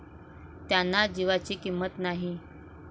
त्यांना जीवाची किंमत नाही.